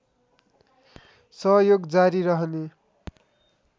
सहयोग जारी रहने